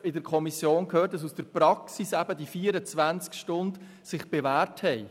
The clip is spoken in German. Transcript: In der Kommission haben wir ausführlich gehört, dass sich die 24 Stunden in der Praxis bewährt haben.